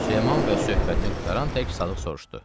Süleyman bəy söhbətini qurtaran tək Sadıq soruşdu: